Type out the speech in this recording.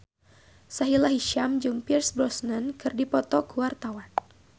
Sahila Hisyam jeung Pierce Brosnan keur dipoto ku wartawan